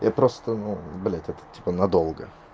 я просто ну блядь это типа надолго